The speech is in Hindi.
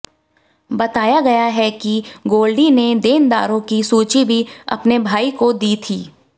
बताया गया है कि गोल्डी ने देनदारों की सूची भी अपने भाई को दी थी